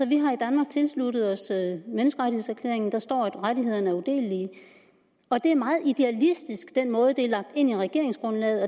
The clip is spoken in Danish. vi har i danmark tilsluttet os menneskerettighedserklæringen der står at rettighederne er udelelige og den måde det er lagt ind i regeringsgrundlaget